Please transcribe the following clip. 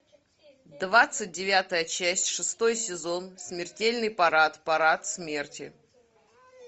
двадцать девятая часть шестой сезон смертельный парад парад смерти